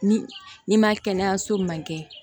Ni n'i ma kɛnɛyaso man kɛ